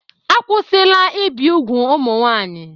Akwụsịla ibi úgwù ụmụ nwanyị.